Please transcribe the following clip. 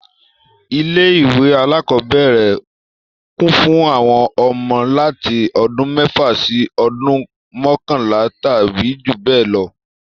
Ilé ìwé alákọ́bẹ̀rẹ̀ kún fún àwọn ọmọ láti ọdún mẹ́fà sí ọdún mọkanla tàbí jù bẹ lọ